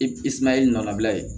Isuman i nɔ na bila ye